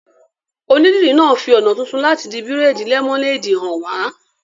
Onídìrí náà fi ọ̀nà tuntun láti di bírèèdì lẹ́mọ́néèdì hàn wá